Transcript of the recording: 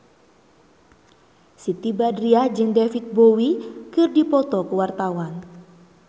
Siti Badriah jeung David Bowie keur dipoto ku wartawan